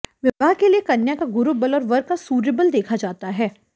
विवाह के लिए कन्या का गुरुबल और वर का सूर्यबल देखा जाता है